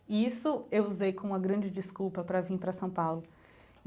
E isso eu usei com uma grande desculpa para vim para São Paulo.